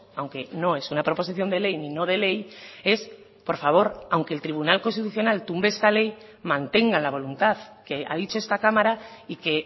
aunque no es una proposición de ley ni no de ley es por favor aunque el tribunal constitucional tumbe esta ley mantengan la voluntad que ha dicho esta cámara y que